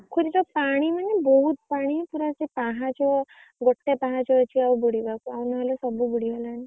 ପୋଖରୀ ରେ ପାଣି ମାନେ ବହୁତ ପାଣି ପୁରା ସେ ପାହାଚ ଗୋଟେ ପାହାଚ ଅଛି ଆଉ ବୁଡିବାକୁ ଆଉ ନହେଲେ ସବୁ ବୁଡ଼ିଗଲାଣି।